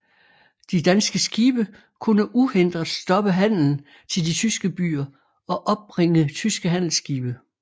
De danske skibe kunne uhindret stoppe handelen til de tyske byer og opbringe tyske handelsskibe